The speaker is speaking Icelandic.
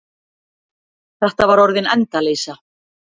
Þetta var orðin endaleysa.